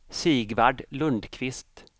Sigvard Lundquist